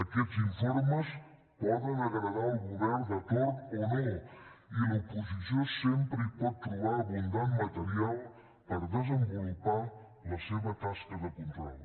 aquests informes poden agradar al govern de torn o no i l’oposició sempre hi pot trobar abundant material per desenvolupar la seva tasca de control